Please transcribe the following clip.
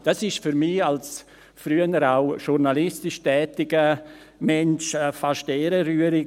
Das ist für mich als früher auch journalistisch tätigen Menschen fast ehrenrührig.